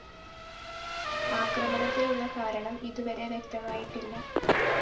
ആക്രമണത്തിനുള്ള കാരണം ഇതുവരെ വ്യക്തമായിട്ടില്ല